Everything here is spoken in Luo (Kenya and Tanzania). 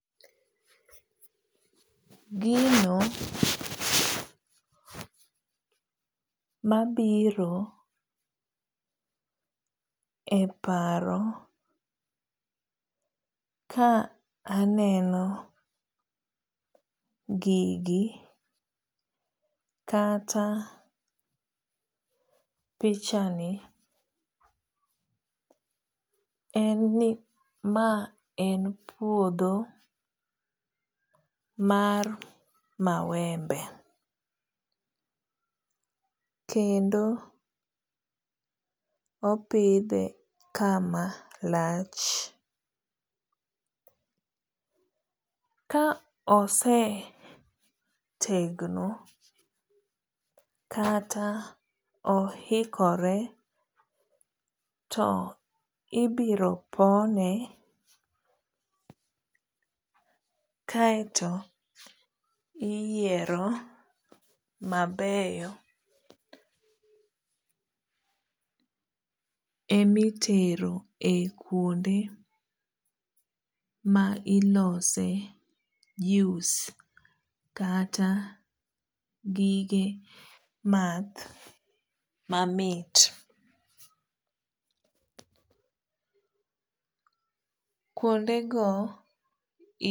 Gino mabiro e paro kaaneno gigi kata pichani en ni maen puodho mar mawembe kendo opidhe kama lach kaosetegno kata ohikore to ibiro pone kaeto iyiero mabeyo emitero e kwonde milose juice kata gige math mamit. kuonde go